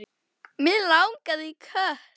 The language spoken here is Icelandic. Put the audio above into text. Mig langaði í kött.